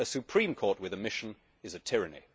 a supreme court with a mission is a tyranny.